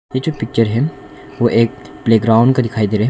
यह जो पिक्चर है वो एक प्लेग्राउंड का दिखाई दे रहा--